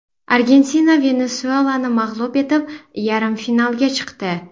Argentina Venesuelani mag‘lub etib, yarim finalga chiqdi .